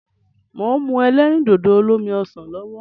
Mò ń mu ẹlẹ́rìndòdò olómi ọsàn lọ́wọ́.